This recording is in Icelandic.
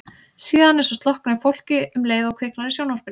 Síðan eins og slokkni á fólki um leið og kviknar á sjónvarpinu.